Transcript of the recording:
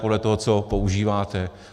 Podle toho, co používáte.